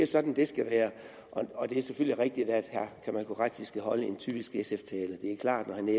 sådan det skal være og det er selvfølgelig rigtigt at herre kamal qureshi skal holde en typisk sf tale det er klart når han er